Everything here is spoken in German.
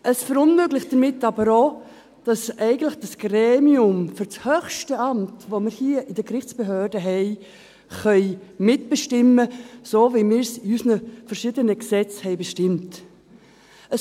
Es verunmöglicht damit aber auch, dass eigentlich dieses Gremium für das höchste Amt, das wir hier in den Gerichtsbehörden haben, mitbestimmen kann – so, wie wir es in unseren verschiedenen Gesetzen bestimmt haben.